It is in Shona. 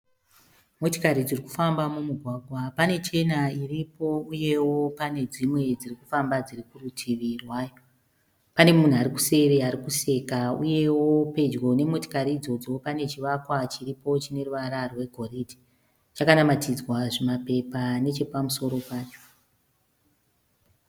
Motikari dziri kufamba mumugwagwa. Pane chena iripo uyewo pane dzimwe dziri kufamba dziri kurutivi rwayo. Pane munhu ari kuseri ari kuseka uyewo pedyo nemotikari idzodzo pane chivakwa chiripo chine ruvara rwegoridhe. Chakanamatinzwa zvimapepa nechepamusoro pacho.